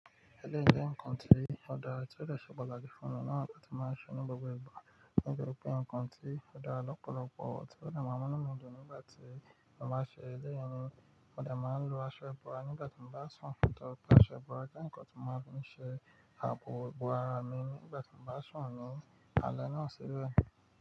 Ẹ̀lẹ́yi je nǹkan tí ó dára tí ó dè ṣe pataki láti fún ọ̀un náà ni mo má n ṣe ní gbogbo ìgbà. Ode je pe nkan ti odara lopolopo, ti ode maa n mu inu mii dun àpo ibò ara mi nígbà tí mo bá sùn ní alẹ́ náà sílẹ̀.